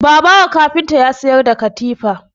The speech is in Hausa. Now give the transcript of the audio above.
Babawo kafinta yana sayar da katifu